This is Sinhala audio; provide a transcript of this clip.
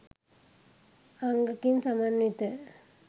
අංග කින් සමන්විත